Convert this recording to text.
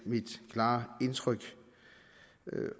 mit klare indtryk